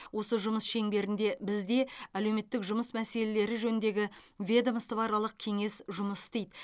осы жұмыс шеңберінде бізде әлеуметтік жұмыс мәселелері жөніндегі ведомствоаралық кеңес жұмыс істейді